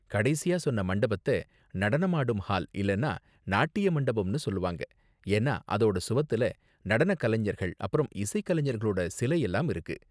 கடைசியா சொன்ன மண்டபத்த நடனமாடும் ஹால் இல்லனா நாட்டிய மண்டபம்னு சொல்லுவாங்க, ஏன்னா அதோட சுவத்துல நடன கலைஞர்கள் அப்பறம் இசைக்கலைஞர்களோட சிலை எல்லாம் இருக்கும்